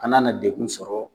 An nana degun sɔrɔ.